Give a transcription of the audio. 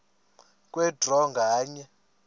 kwe draw nganye